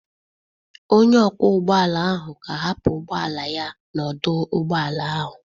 Onye ọkwọ ụgbọala ahụ ga-ahapụ ụgbọ ala ya n'ọdụ ụgbọala ahụ.